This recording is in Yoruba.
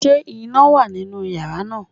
Ṣé iná wà nínú yàrá náà?